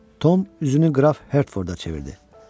Tom üzünü Qraf Hertforda çevirdi.